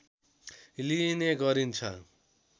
लिइने गरिन्छ